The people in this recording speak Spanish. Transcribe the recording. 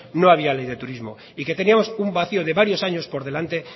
no había ley de turismo y que teníamos un vacio de varios años por delante